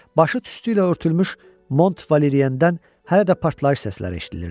Başı tüstü ilə örtülmüş Mont Valeriyəndən hələ də partlayış səsləri eşidilirdi.